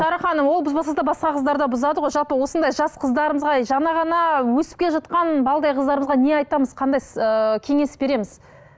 шара ханым ол бұзбаса да басқа қыздар да бұзады ғой жалпы осындай жас қыздарымызға жаңа ғана өсіп келе жатқан балдай қыздарымызға не айтамыз қандай ыыы кеңес береміз